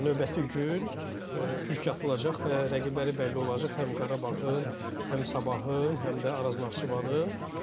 Növbəti gün püşk atılacaq və rəqibləri bəlli olacaq həm Qarabağın, həm Sabahın, həm də Araz Naxçıvanın.